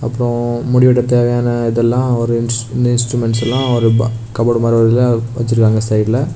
அப்புறம் முடி வெட்ட தேவையான இதெல்லாஒரு இன்ஸ் இன்ஸ்ட்ருமெண்ட்ஸ் எல்லா ஒரு கபோர்ட் மாதிரி இதுல வெச்சிருக்காங்க சைடுல .